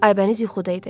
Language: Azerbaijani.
Aybəniz yuxuda idi.